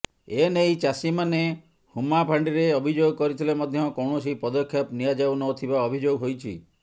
ଏନେଇ ଚାଷୀମାନେ ହୁମ୍ମା ଫାଣ୍ଡିରେ ଅଭିଯୋଗ କରିଥିଲେ ମଧ୍ୟ କୌଣସି ପଦକ୍ଷେପ ନିଆଯାଉନଥିବା ଅଭିଯୋଗ ହୋଇଛି